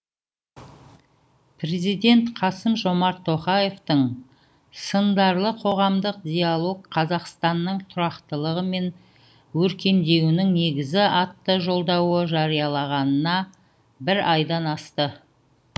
президент қасым жомарт тоқаевтың сындарлы қоғамдық диалог қазақстанның тұрақтылығы мен өркендеуінің негізі атты жолдауы жариялағанына бір айдан асты